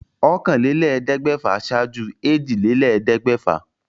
Ọ̀kànléléèẹ́dẹ́gbẹ̀fà ṣaájú èjìlélẹ́ẹ̀ẹ́dẹ́. gbẹ̀fà